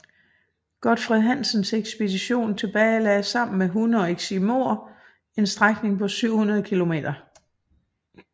Godfred Hansens ekspedition tilbagelagde sammen med hunde og eskimoer en strækning på 700 kilometer